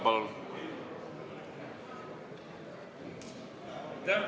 Palun!